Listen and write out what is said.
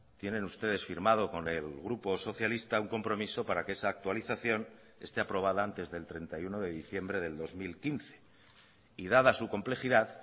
tienen ustedes firmado con el grupo socialista un compromiso para que esa actualización esté aprobada antes del treinta y uno de diciembre del dos mil quince y dada su complejidad